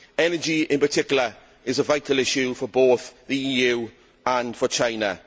Energy, in particular, is a vital issue for both the EU and China.